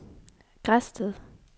Græsted